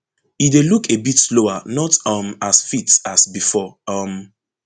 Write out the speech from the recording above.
e dey look a bit slower not um as fit as bifor um